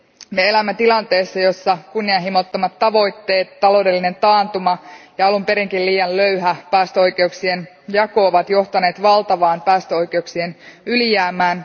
Me elämme tilanteessa, jossa kunnianhimottomat tavoitteet, taloudellinen taantuma ja alun perinkin liian löyhä päästöoikeuksien jako ovat johtaneet valtavaan päästöoikeuksien ylijäämään.